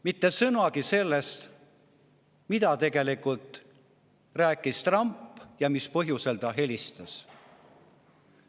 Mitte sõnagi sellest, mida tegelikult rääkis Trump ja mis põhjusel ta helistas.